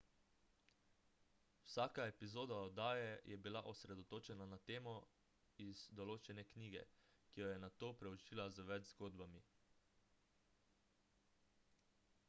vsaka epizoda oddaje je bila osredotočena na temo iz določene knjige ki jo je nato preučila z več zgodbami